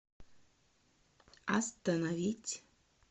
остановить